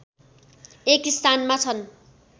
१ स्थानमा छन्